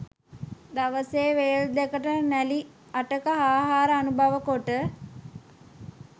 දවසේ වේල් දෙකට නැළි අටක ආහාර අනුභව කොට